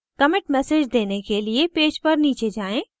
commit message देने के लिए पेज पर नीचे जाएँ